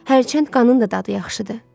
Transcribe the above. Herçənd qanın da dadı yaxşıdır.